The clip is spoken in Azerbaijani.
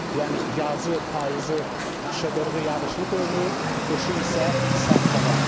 Yəni yazı, payızı şıdırğı, yağışlı dövrü, qışı isə sərt hava.